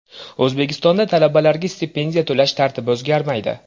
O‘zbekistonda talabalarga stipendiya to‘lash tartibi o‘zgarmaydi.